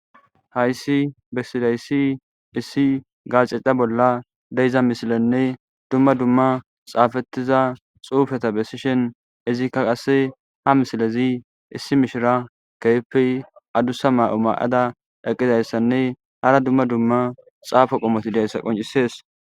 Hayssi bessidayssi issi gacica bolla deyiza misilenne dumma dumma xaafettiza xuufeta bessishen izikka qasse ha misilezi issi mishira keeppey adusa ma'o ma'ada eqqizayssanne hara dumma dumma xaafo qomoti dayssa qoncisees.